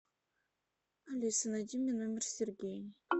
алиса найди мне номер сергей